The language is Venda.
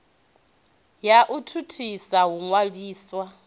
ya u thuthisa u ṅwaliswa